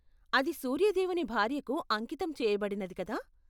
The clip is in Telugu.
అది సూర్య దేవుని భార్యకు అంకితం చేయబడినది కదా?